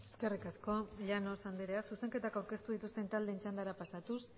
eskerrik asko llanos andrea zuzenketak aurkeztu dituzten taldeen txandara pasatuz